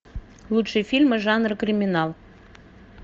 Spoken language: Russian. лучшие фильмы жанра криминал